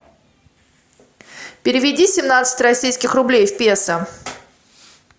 переведи семнадцать российских рублей в песо